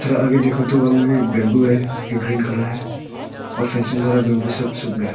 थोड़ा आगे देखने तो वहा मे भी बेम्बु है जो की ग्रीन कलर है और फेनसिंग वाला बेम्बु सब सुख गए हैं।